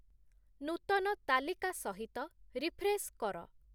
ନୂତନ ତାଲିକା ସହିତ ରିଫ୍ରେଶ୍‌ କର